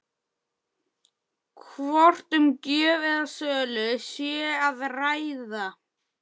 Hvort um gjöf eða sölu sé að ræða?